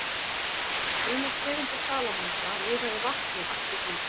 Sumar tegundir salamandra lifa í vatni allt sitt líf.